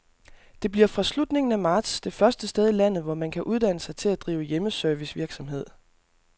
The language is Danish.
Det bliver fra slutningen af marts det første sted i landet, hvor man kan uddanne sig til at drive hjemmeservicevirksomhed.